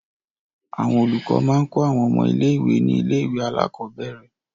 Àwọn olùkọ́ máa ń kọ́ àwọn ọmọ ilé-ìwé ní ilé-ìwé alákọ̀ọ́bẹ̀rẹ̀.